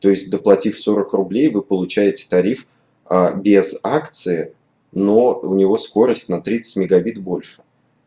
то есть доплатив сорок рублей вы получаете тариф аа без акции но у него скорость на тридцать мегабит больше